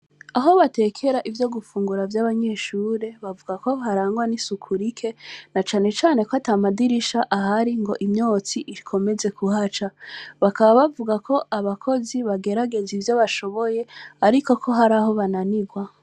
Aho batekera ivyo gufungura vy’abanyeshure, bavuga ko harangwa n’isuku rike, na cane cane ko ata madirisha ahari ngo imyotsi ikomeze kuhaca. Bakaba bavuga ko abakozi bagerageza ivyo bashoboye, ariko ko hari aho bananirwa.